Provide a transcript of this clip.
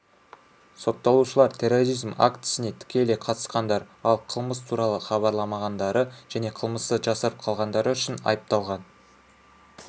сотталушылар терроризм актісіне тікелей қатысқандар ал қылмыс туралы хабарламағандары және қылмысты жасырып қалғандары үшін айыпталған